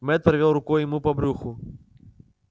мэтт провёл рукой ему по брюху